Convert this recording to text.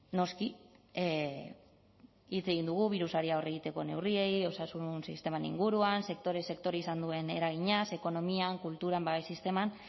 noski hitz egin dugu birusari aurre egiteko neurriei osasun sistemaren inguruan sektore sektore izan duen eraginaz ekonomian kulturan babes sisteman